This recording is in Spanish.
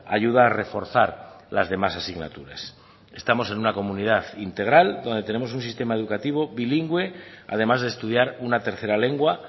ayuda a reforzar las demás asignaturas estamos en una comunidad integral donde tenemos un sistema educativo bilingüe además de estudiar una tercera lengua